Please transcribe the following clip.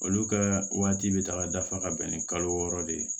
Olu ka waati bɛ taga dafa ka bɛn ni kalo wɔɔrɔ de ye